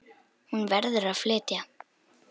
Hún verður að flytja.